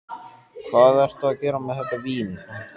Hvað ertu að gera með þetta vín?